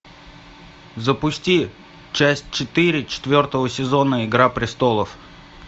запусти часть четыре четвертого сезона игра престолов